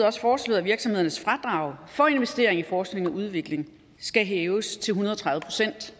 også foreslået at virksomhedernes fradrag for investering i forskning og udvikling skal hæves til en hundrede og tredive procent